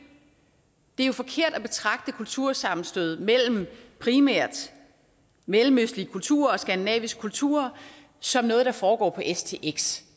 det er jo forkert at betragte kultursammenstød mellem primært mellemøstlige kulturer og skandinavisk kultur som noget der foregår på stx